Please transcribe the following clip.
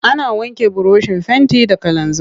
Ana wanke burushin fenti da kalanzir.